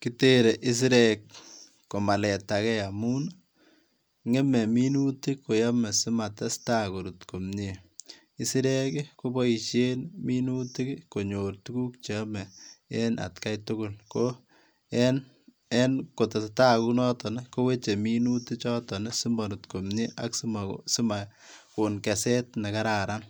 Kitere isirek komaletage amun, ng'eme minutik koyome simatesta korut komie. Isirek koboisien minutik kosich tuguk chrome atkai tugul en kotesetai kounoton ii koweche minuti choton simorut komie ak simakon keset nekararan,